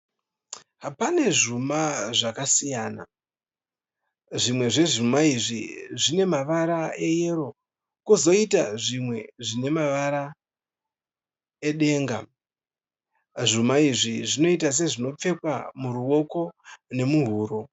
Pane zvuma zvakasiyana. Zvimwe zvezvuma izvi zvine mavara eyero kozoita zvimwe zvine mavara edenga . Zvuma izvi zvinoita sezvinopfekwa muruoko nemuhuro.